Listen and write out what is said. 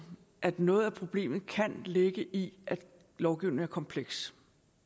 at noget af problemet kan ligge i at lovgivningen er kompleks